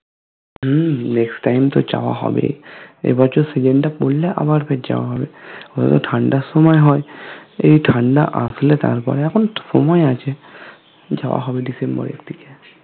হুম next time তো জবাহবে এবছর season টা পড়লে আবার ফির জাবাহবে ওটাতো ঠান্ডার সময় হয় এই ঠান্ডা আসলে তারপরে এখনো সময় আছে জাবাহবে December এর দিগে